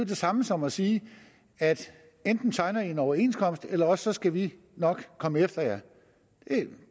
det samme som at sige at enten tegner i en overenskomst eller også skal vi nok komme efter jer